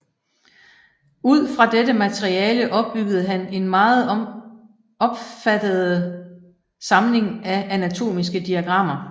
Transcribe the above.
Ud fra dette materiale opbyggede han en meget opfattede samling af anatomiske diagrammer